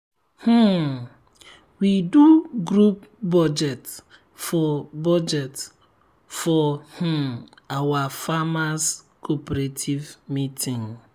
um we do group budget for budget for um our farmers cooperative meeting.